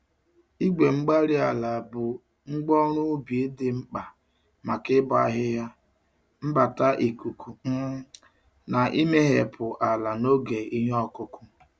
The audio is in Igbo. igwe-mgbárí-ala bụ ngwa ọrụ ubi dị mkpa maka ịbọ ahihia, mbata ikuku, um na imehepụ ala n'oge ihe ọkụkụ.